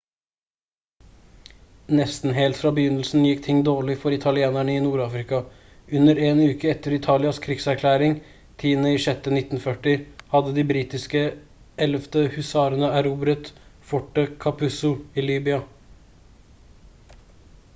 nesten helt fra begynnelsen gikk ting dårlig for italienerne i nord-afrika. under 1 uke etter italias krigserklæring 10.06.1940 hadde de britiske 11. husarene erobret fortet capuzzo i libya